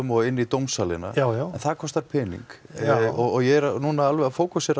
og inn í dómsalinn já já en það kostar pening ég er alveg